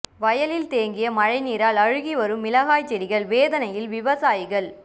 வயலில் தேங்கிய மழைநீரால் அழுகி வரும் மிளகாய் செடிகள் வேதனையில் விவசாயிகள்